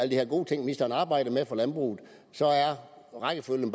de her gode ting ministeren arbejder med for landbruget men rækkefølgen